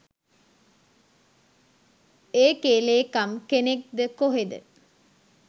ඒකෙ ලේකම් කෙනෙක්ද කොහේද